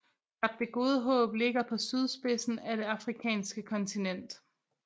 Kap det Gode Håb ligger på sydspidsen af det afrikanske kontinent